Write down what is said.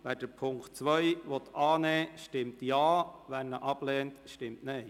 Wer den Punkt 2 annehmen will, stimmt Ja, wer diesen ablehnt, stimmt Nein.